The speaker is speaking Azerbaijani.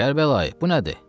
Kərbəlayı, bu nədir?